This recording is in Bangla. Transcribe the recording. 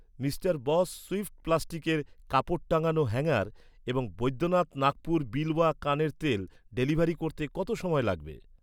মিস্টার বস সুইফট প্লাস্টিকের কাপড় টাঙানোর হ্যাঙ্গার এবং বৈদ্যনাথ নাগপুর বিলওয়া কানের তেল ডেলিভারি করতে কত সময় লাগবে?